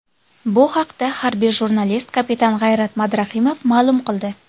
Bu haqda harbiy jurnalist, kapitan G‘ayrat Madrahimov ma’lum qildi.